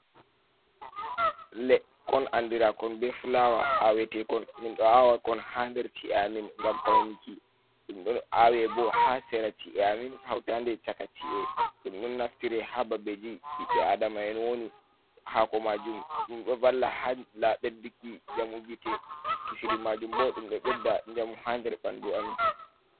Lekkon andirakon bee fulawa, ahwetekon, minɗon ahwakon haa nder ci’e amin ngam pawniki, ɗum don ahwe boh haa sera ci’e amin hautande caka ci’e, ɗum don naftire haa babejii ɓiɓɓe aadama'en woni, hako majum ɗum ɗon valla haa bedduki njamu gite kisiri majum boh ɗum ɗon bedda njamu haa nder bandu amin.